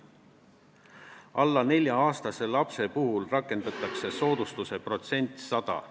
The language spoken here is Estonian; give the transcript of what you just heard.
Alla 4-aastaste laste puhul rakendatakse soodustuse protsenti 100.